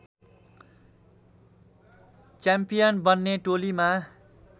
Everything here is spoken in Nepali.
च्याम्पियन बन्ने टोलीमा